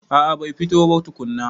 A a bai fito ba tukunna.